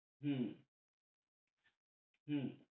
হম হম